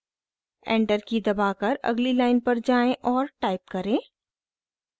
enter की दबाकर अगली लाइन पर जाएँ और टाइप करें: